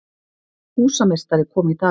Húsameistari kom í dag.